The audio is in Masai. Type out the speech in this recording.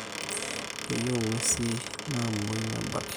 Keyieu nguesin namwoi nebaki